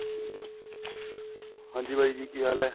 ਹਾਂਜੀ, ਬਾਈ ਜੀ ਕੀ ਹਾਲ ਹੈ?